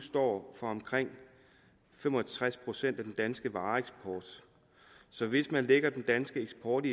står for omkring fem og tres procent af den danske vareeksport så hvis man lægger den danske eksport